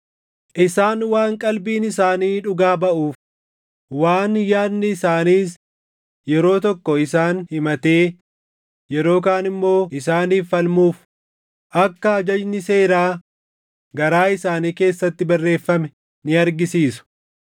Isaan waan qalbiin isaanii dhugaa baʼuuf, waan yaadni isaaniis yeroo tokko isaan himatee yeroo kaan immoo isaaniif falmuuf, akka ajajni seeraa garaa isaanii keessatti barreeffame ni argisiisu.